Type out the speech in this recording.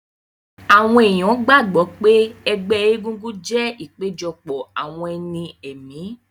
Àwọn èèyàn gbàgbọ́ pé ẹgbẹ́ egúngún jẹ́ ìpéjọpọ̀ àwọn ẹni ẹ̀mí